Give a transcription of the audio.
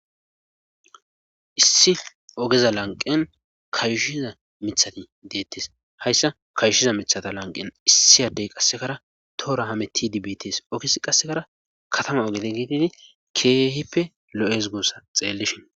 Issi ogeza lanqen kayushiza mithati deettes hayssa kayushiza mithata lanqen issi addey qassekara toora hameti dibits ogis qassekara katama ogete giididi keehipe lo7es gossa xeellishin